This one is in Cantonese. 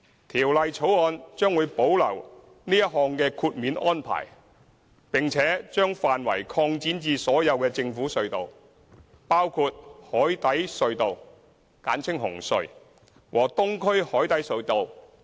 《條例草案》將會保留這項豁免安排，並且把範圍擴展至所有政府隧道，包括海底隧道和東區海底隧道。